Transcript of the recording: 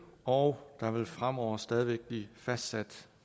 og der vil fremover stadig væk blive fastsat